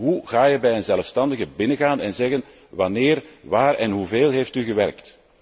Hoe ga je bij een zelfstandige binnengaan en vragen Wanneer, waar en hoeveel heeft u gewerkt?